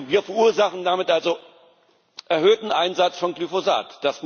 Wir verursachen damit also erhöhten Einsatz von Glyphosat.